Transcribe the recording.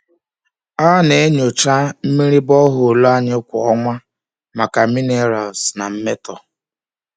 A na-enyocha mmiri borehole anyị kwa ọnwa maka minerals na mmetọ.